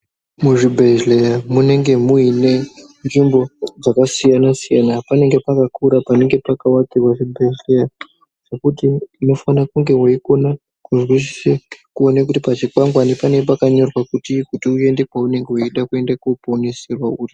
Muzvibhedhleya munenge muine nzvimbo dzakasiyana siyana, panenge pakakura panenge pakawakiwa zvibhehleya zvekuti unofana kunenge weikona kuzwisisa kuona kuti pachikwangwani panenge pakanyorwa kuti uone kuenda kwaunenge weida koponeserwa uri.